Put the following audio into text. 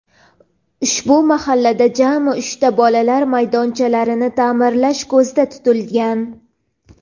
ushbu mahallada jami uchta bolalar maydonchalarini ta’mirlash ko‘zda tutilgan.